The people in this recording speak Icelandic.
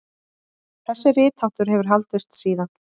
þessi ritháttur hefur haldist síðan